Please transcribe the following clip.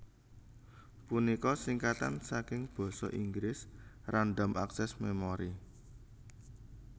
punika singkatan saking Basa Inggris Random Access Memory